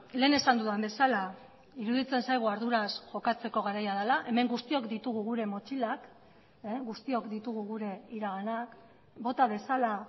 lehen esan dudan bezala iruditzen zaigu arduraz jokatzeko garaia dela hemen guztiok ditugu gure motxilak guztiok ditugu gure iraganak bota dezala